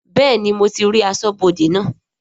Bẹ́ẹ̀ni mo ti rí aṣọ́bodè naa